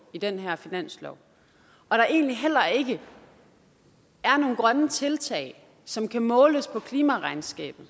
i den her finanslov og der egentlig heller ikke er nogen grønne tiltag som kan måles på klimaregnskabet